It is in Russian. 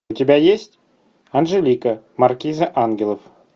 у тебя есть анжелика маркиза ангелов